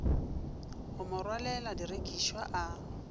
go mo rwalela direkišwa a